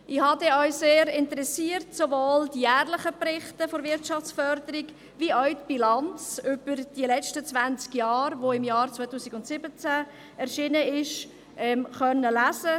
Ich habe denn auch sehr interessiert sowohl die jährlichen Berichte der Wirtschaftsförderung als auch die Bilanz über die letzten zwanzig Jahre, die im Jahr 2017 erschienen ist, lesen können.